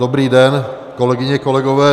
Dobrý den, kolegyně, kolegové.